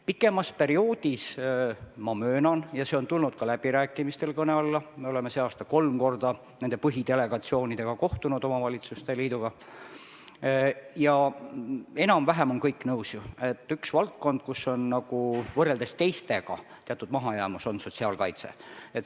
Pikemat perioodi arvestades ma möönan – see on tulnud ka läbirääkimistel kõne alla, me oleme sel aastal kolm korda omavalitsuste liitude põhidelegatsioonidega kohtunud ja kõik on olnud enam-vähem nõus –, et üks valdkond, kus on teisega võrreldes teatud mahajäämus, on sotsiaalkaitse.